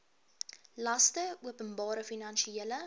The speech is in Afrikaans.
laste openbare finansiële